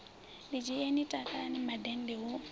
ḓidzhieni ni takalani mandende hu